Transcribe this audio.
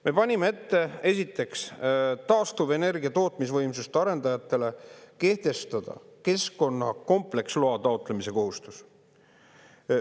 Me panime ette, esiteks, taastuvenergia tootmisvõimsuste arendajatele kehtestada keskkonna kompleksloa taotlemise kohustus.